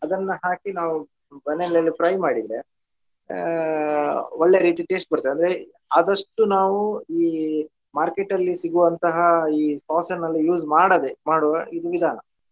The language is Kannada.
ಅದನ್ನ ಹಾಕಿ ನಾವು ಬಣಲೆಯಲ್ಲಿ fry ಮಾಡಿದ್ರೆ ಅಹ್ ಒಳ್ಳೆ ರೀತಿ taste ಬರ್ತದೆ ಅಂದ್ರೆ ಆದಷ್ಟು ನಾವು ಈ market ಅಲ್ಲಿ ಸಿಗುವಂತಹ ಈ sauce ನ್ನೆಲ್ಲ use ಮಾಡದೆ ಮಾಡುವ ಇದು ವಿಧಾನ.